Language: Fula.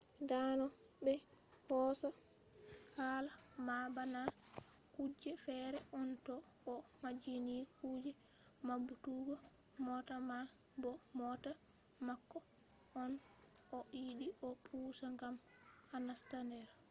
dano be hosa hala man bana kuje fere on to o majjinni kuje mabbutuggo mota man bo mota mako on o yidi o pusa gam o nasta der